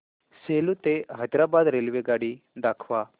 सेलू ते हैदराबाद रेल्वेगाडी दाखवा